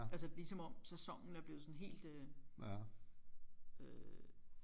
Altså lige som om sæsonen er blevet sådan helt øh øh